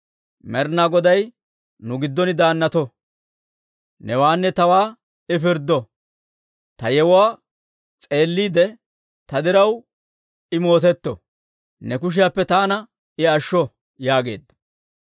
Med'inaa Goday nu giddon daannato; newaanne tawaa I pirddo; ta yewuwaa s'eelliide, ta diraw I mootetto; ne kushiyaappe taana I ashsho» yaageedda.